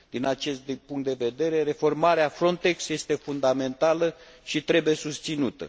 Din acest punct de vedere, reformarea Frontex este fundamentală și trebuie susținută.